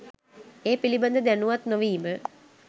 ඒ පිළිබඳ දැනුවත් නො වීම